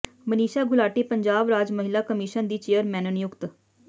ਮਨੀਸ਼ਾ ਗੁਲਾਟੀ ਪੰਜਾਬ ਰਾਜ ਮਹਿਲਾ ਕਮਿਸ਼ਨ ਦੀ ਚੇਅਰਪਰਸਨ ਨਿਯੁਕਤ